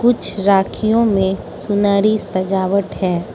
कुछ राखियों में सुनहरी सजावट है।